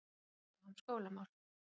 Tekist á um skólamál